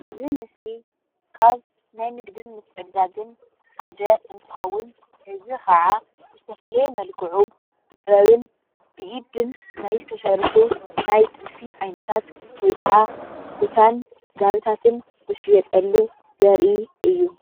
እዚ ምስሊ ካብ ናይ ንግድን ምትዕድዳግን ሓደ እንትኸውን እዚ ካዓ ብዝተፈለየ መልክዑ ብጥበብን ብኢድን ናይ ዝተሰርሑ ናይ ጥልፊ ዓይነታት ወይ ካዓ ኩታን ጋቢታትን ዝሽየጠሉ ዘርኢ እዩ፡፡